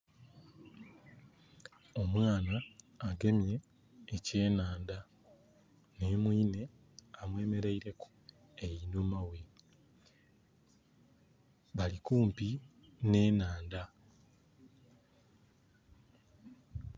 Omwana agemye e kyenhandha nhi mwinhe amwemereire ku einhuma ghe , balikumpi nhe nhaanda